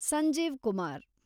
Sanjeev Kumar